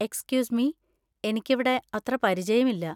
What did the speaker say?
Excuse me, എനിക്കിവിടെ അത്ര പരിചയമില്ല.